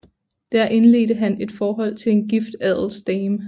Der indledte han et forhold til en gift adelsdame